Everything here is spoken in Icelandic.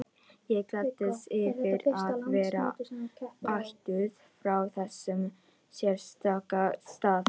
Ég gladdist yfir að vera ættuð frá þessum sérstaka stað.